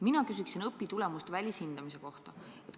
Mina küsin õpitulemuste välishindamise kohta.